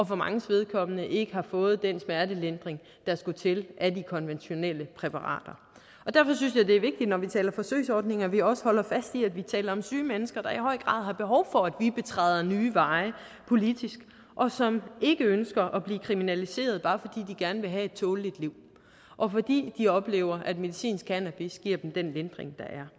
for manges vedkommende ikke har fået den smertelindring der skulle til af de konventionelle præparater derfor synes jeg det er vigtigt når vi taler forsøgsordning at vi også holder fast i at vi taler om syge mennesker der i høj grad har behov for at vi betræder nye veje politisk og som ikke ønsker at blive kriminaliseret bare fordi de gerne have et tåleligt liv og fordi de oplever at medicinsk cannabis giver dem den lindring der er